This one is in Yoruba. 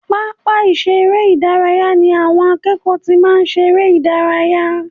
Pápá ìṣeré ìdárayá ni àwọn akẹ́kọ̀ọ́ ti máa ń ṣeré ìdárayá